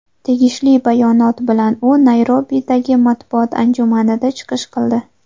Tegishli bayonot bilan u Nayrobidagi matbuot anjumanida chiqish qildi.